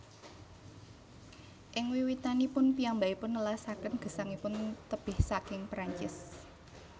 Ing wiwitanipun piyambakipun nelasaken gesangipun tebih saking Perancis